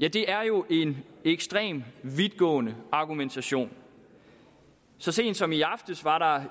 ja det er jo en ekstremt vidtgående argumentation så sent som i aftes var